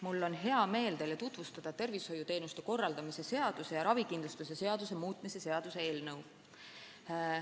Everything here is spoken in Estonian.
Mul on hea meel teile tutvustada tervishoiuteenuste korraldamise seaduse ja ravikindlustuse seaduse muutmise seaduse eelnõu.